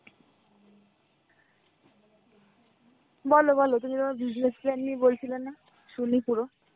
বলো বলো তুমি তোমার business planning নিয়ে বলছিলে না, শুনি পুরো.